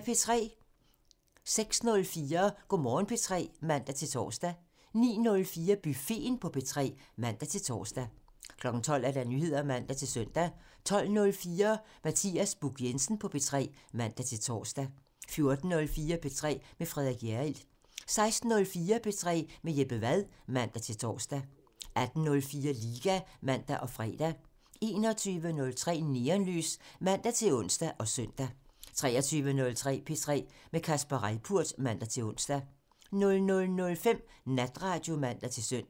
06:04: Go' Morgen P3 (man-tor) 09:04: Buffeten på P3 (man-tor) 12:00: Nyheder (man-søn) 12:04: Mathias Buch Jensen på P3 (man-tor) 14:04: P3 med Frederik Hjerrild 16:04: P3 med Jeppe Wad (man-tor) 18:04: Liga (man og fre) 21:03: Neonlys (man-ons og søn) 23:03: P3 med Kasper Reippurt (man-ons) 00:05: Natradio (man-søn)